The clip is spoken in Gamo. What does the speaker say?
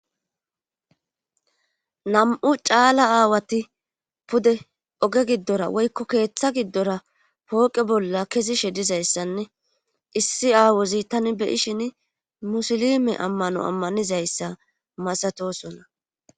nam7u caala aawati pude oge giddora woykko keeththa giddora pooqe bolla kesi she dizayssanne issi aawozi tani beyishin musilime ammano ammanizayssa masatosona